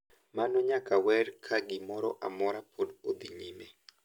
Mano nyaka wer ka gimoro amora pok odhi nyime.